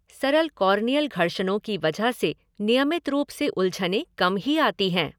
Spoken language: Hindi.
सरल कॉर्नियल घर्षणों की वजह से नियमित रूप से उलझनें कम ही आती हैं।